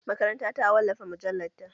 Makaranta ta wallafa mujallar ta